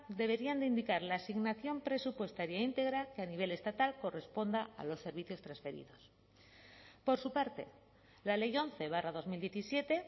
deberían de indicar la asignación presupuestaria íntegra que a nivel estatal corresponda a los servicios transferidos por su parte la ley once barra dos mil diecisiete